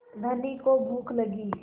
धनी को भूख लगी